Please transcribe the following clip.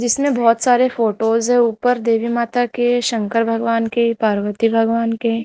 जिसने बहोत सारे फोटोज है ऊपर देवी माता के शंकर भगवान के पार्वती भगवान के।